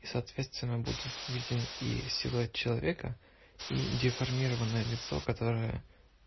и соответственно будет виден и силуэт человека и деформированное лицо которое